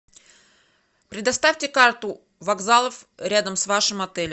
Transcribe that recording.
предоставьте карту вокзалов рядом с вашим отелем